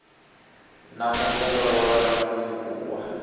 na mu zwondolola no sinvuwa